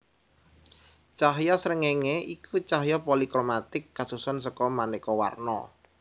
Cahya srengéngé iku cahya polikromatik kasusun seka manéka warna